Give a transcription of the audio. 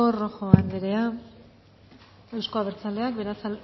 rojo anderea euzko abertzaleak